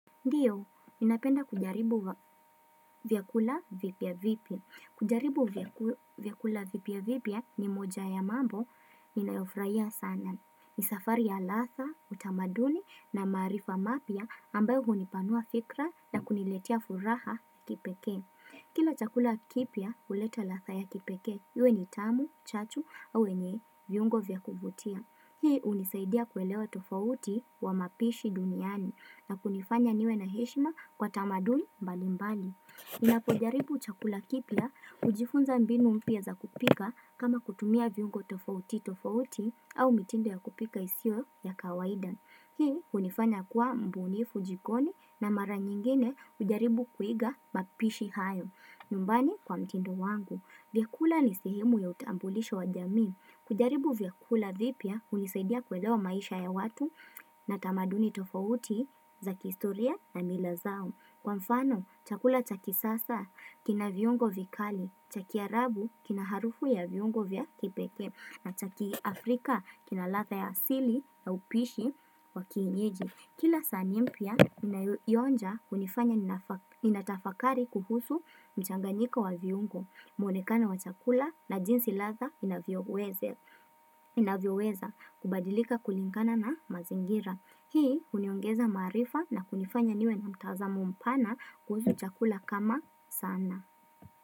Ndiyo, ninapenda kujaribu vyakula vipia vipia. Kujaribu vyakula vipia vipia ni moja ya mambo ninayofurahia sana. Ni safari ya ladha, utamaduni na maarifa mapia ambayo hunipanua fikra na kuniletia furaha kipeke. Kila chakula kipya, huleta latha ya kipekee. Iwe ni tamu, chachu, au yenye, vyungo vya kuvutia. Hii hunisaidia kuelewa tofauti wa mapishi duniani. Na kunifanya niwe na heshima kwa tamaduni mbali mbali. Napo jaribu chakula kipya hujifunza mbinu mpya za kupika kama kutumia viungo tofauti tofauti au mitinde ya kupika isio ya kawaida. Hii kunifanya kuwa mbunifu jikoni na mara nyingine ujaribu kuiga mapishi hayo. Nyumbani kwa mtindo wangu. Vyakula ni sehemu ya utambulisho wa jami. Kujaribu vya kula vipya hunisadia kuelewa maisha ya watu na tamaduni tofauti za kihistoria na mila zao. Kwa mfano, chakula chakisasa kina viungo vikali, chaki arabu kina harufu ya viungo vya kipeke, na chaki afrika kina latha ya sili ya upishi wa kiinyeji. Kila sahani mpya ninayoionja hunifanya ninatafakari kuhusu mchanganyiko wa viungo, mwonekana wa chakula na jinsi latha inavyoweza kubadilika kulingana na mazingira. Hii huniongeza maarifa na kunifanya niwe na mtazamo mpana kuhusu chakula kama sana.